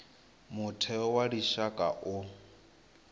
mutheo wa lushaka u nga